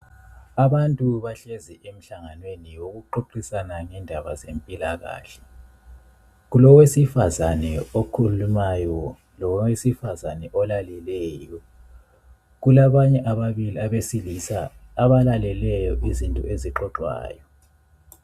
Abantu bahlezi emhlanganweni yokuxoxisana ngendaba zempilakahle. Kulowesifazane okhulumayo, lowesifazane olaleleyo. Kulabanye ababili abesilisa abalaleleyo izinto ezixoxwayo.